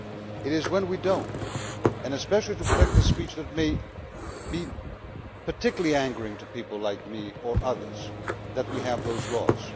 It is when we do not and especially to protect the speech that may particularly be angering to people like me or others that we have those laws.